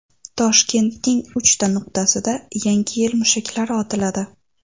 Toshkentning uchta nuqtasida Yangi yil mushaklari otiladi.